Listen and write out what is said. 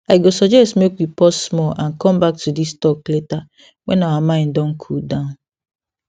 i go suggest make we pause small and come back to this talk later when our mind don cool down